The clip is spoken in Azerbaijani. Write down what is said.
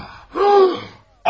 Ah!